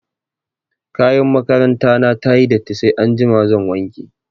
Kayan makaranta na ta yi datti sai anjima zan wanke.